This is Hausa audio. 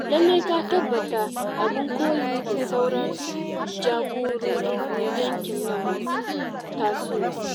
Lallai ka tabbata abin koyi ga sauran jagororin yankin nan masu tasowa.